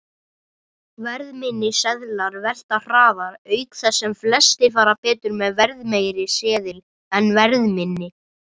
Verðminni seðlar velta hraðar, auk þess sem flestir fara betur með verðmeiri seðil en verðminni.